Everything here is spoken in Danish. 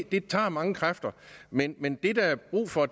det tager mange kræfter men men det der er brug for